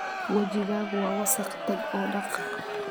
Wajigaagu waa wasakh, tag oo dhaq.